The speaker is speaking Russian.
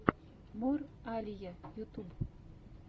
мор алия ютуб